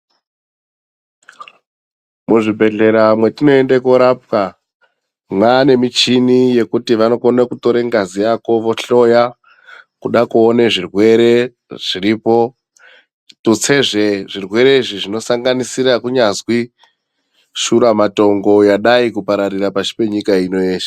Muzvibhedhlera mwetinoende korapwa mwaane mishini yekuti vanokone kutore ngazi yako vohloya kuda kuone zvirwere zviripo tutse zvee zvirwere izvi zvinosanganisira kunyazwi shura matongo yadai kupararira pashi penyika ino yeshe.